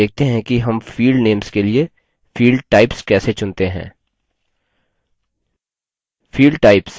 चलिए देखते हैं कि हम field names के लिए field types कैसे चुनते हैं